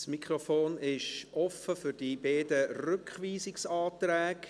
Das Mikrofon ist offen für die beiden Rückweisungsanträge.